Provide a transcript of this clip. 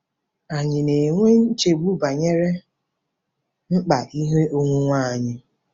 Ànyị na-enwe nchegbu banyere mkpa ihe onwunwe anyị?